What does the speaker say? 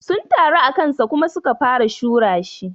Sun taru akansa Kuma su ka fara shura shi.